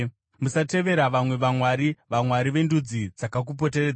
Musatevera vamwe vamwari, vamwari vendudzi dzakakupoteredzai;